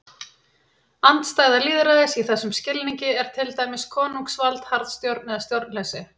Andstæða lýðræðis í þessum skilningi er til dæmis konungsvald, harðstjórn eða stjórnleysi.